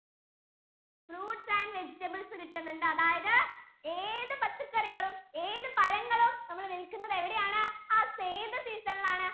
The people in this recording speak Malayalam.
fruits and vegetables കിട്ടുന്നുണ്ട് അതായതു ഏതു പച്ചക്കറികളും ഏതു പഴങ്ങളും നമ്മൾ വിൽക്കുന്നത് എവിടെ ആണ്? ആ zaid season ഇൽ ആണ്